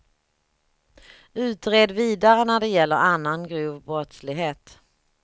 Utred vidare när det gäller annan grov brottslighet.